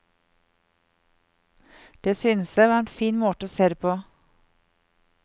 Det synes jeg var en fin måte å se det på.